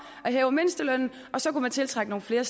at hæve mindstelønnen og så kunne man tiltrække nogle flere